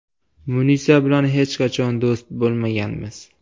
Munisa bilan hech qachon do‘st bo‘lmaganmiz.